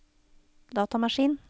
datamaskin